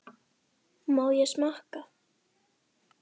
Heimir: Má ég smakka?